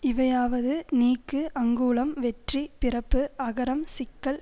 இவையாவது நீக்கு அங்குளம் வெற்றி பிறப்பு அகரம் சிக்கல்